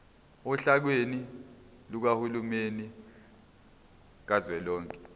ohlakeni lukahulumeni kazwelonke